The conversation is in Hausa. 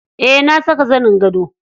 Eh na saka zanin gado.